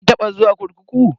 Kin taba zuwa kurkuku?